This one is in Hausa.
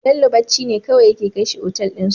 Bello bacci ne kawai yake kai shi otal din su